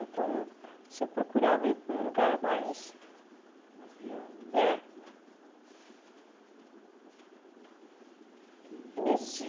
Então, você procurava ir para um lugar mais... Mais viável. É